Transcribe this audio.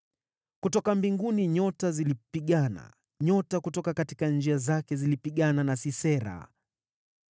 Kutoka mbinguni nyota zilipigana, nyota kutoka njia zake zilipigana na Sisera.